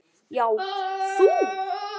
Já, þú.